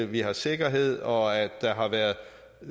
vi har sikkerhed og at der har været